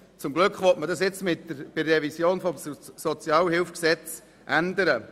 Zum Glück will man das nun mit der Revision des Sozialhilfegesetzes (SHG) ändern.